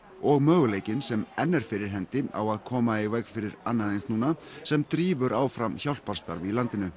og möguleikinn sem enn er fyrir hendi á að koma í veg fyrir annað eins núna sem drífur áfram hjálparstarf í landinu